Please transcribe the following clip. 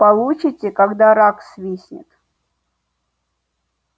получите когда рак свистнет